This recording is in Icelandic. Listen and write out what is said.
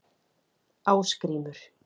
Ásgrímur